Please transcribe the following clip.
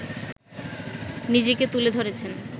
নিজেকে তুলে ধরেছেন